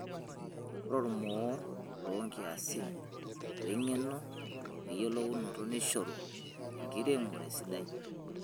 Ore ormoo lonkiasin, wengeno weyiulounoto neishoru enkiremore sidai.